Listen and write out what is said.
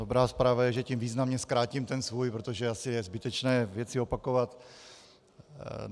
Dobrá zpráva je, že tím významně zkrátím ten svůj, protože je asi zbytečné věci opakovat.